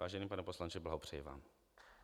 Vážený pane poslanče, blahopřeji vám.